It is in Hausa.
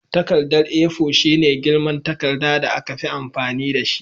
Takarda A4 shine girman takarda da aka fi amfani dashi